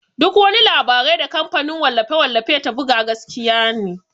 Duk wani labarai da kamfanin wallafe-wallafe ta buga gaskiya ne.